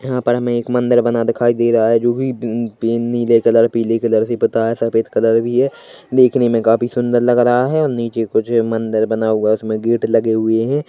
यहां पर हमे एक मंदिर बना दिखाई दे रहा है जो भी पी नी नीले कलर पीले कलर पुता है सफेद कलर भी है देखने मे काफी सुंदर लग रहा है और नीचे कुछ मंदिर बना हुआ है इसमे गेट भी लगे हुए है।